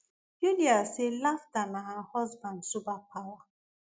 yulia say laughter na her husband superpower